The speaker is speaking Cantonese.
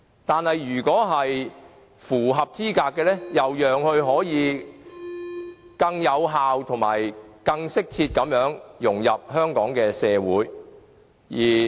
但是，如果是符合資格的，亦要讓他可以更有效及更適切地融入香港社會。